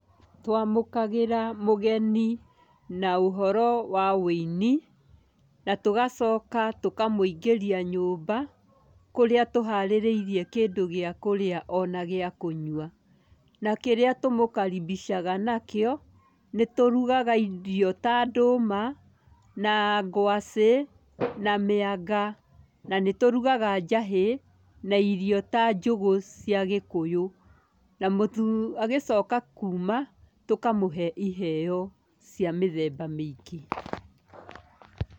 Twamũkagĩra mũgeni na ũhoro wa wũini na tũgacoka tũkamũingĩria nyũmba kũrĩa tũharĩrĩirie kĩndũ gĩa kũrĩa ona gĩakũnyua. Na kĩrĩa tũmũkaribicaga nakĩo, nĩ tũrugaga irio ta ndũma, na ngwacĩ na mĩanga, na nĩ tũrugaga njahĩ na irio ta njũgũ cia gĩkũyũ, na agĩcoka kuuma tũkamũhe iheyo cia mĩthemba mĩingĩ.